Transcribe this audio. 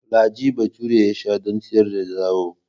Flajil Bature ya sha don tsayar da zawo.